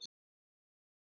Þetta er fjarri sanni.